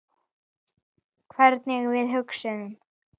Hvernig við hugsum.